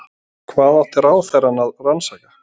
Hvað átti ráðherrann að rannsaka?